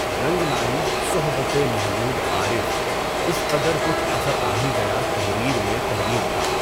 رنگ لائی صحبتِ محمودؔ عارفؔ اس قدر کچھ اثر آ ہی گیا تحریر میں تحریر کا